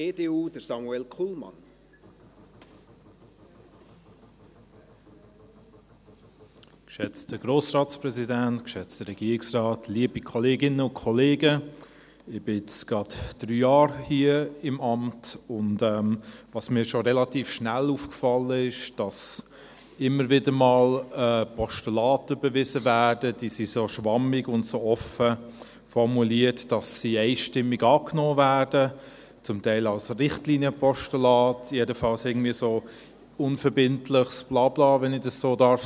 Ich bin jetzt gerade drei Jahre in diesem Amt, und was mir schon relativ schnell aufgefallen ist, ist, dass immer wieder einmal Postulate überwiesen werden, die so schwammig und so offen formuliert sind, dass sie einstimmig angenommen werden, zum Teil als Richtlinienpostulate, aber jedenfalls irgendwie so als unverbindliches Blabla, wenn ich das so sagen darf.